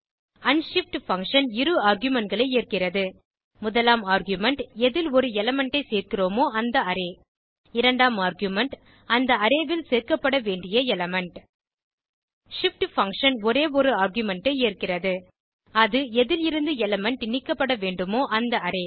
unshift function இரு argument களை ஏற்கிறது முதலாம் ஆர்குமென்ட் எதில் ஒரு எலிமெண்ட் ஐ சேர்கிறோமோ அந்த அரே இரண்டாம் ஆர்குமென்ட் அந்த அரே ல் சேர்க்கப்பட வேண்டிய எலிமெண்ட் shift பங்ஷன் ஒரே ஒரு ஆர்குமென்ட் ஐ ஏற்கிறது அது எதில் இருந்து எலிமெண்ட் நீக்கப்பட வேண்டுமோ அந்த அரே